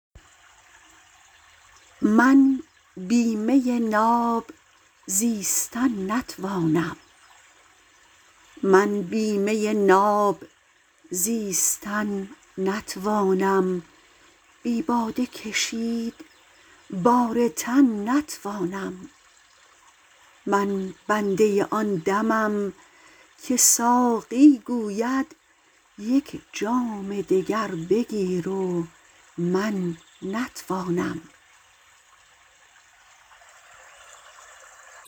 من بی می ناب زیستن نتوانم بی باده کشید بار تن نتوانم من بنده آن دمم که ساقی گوید یک جام دگر بگیر و من نتوانم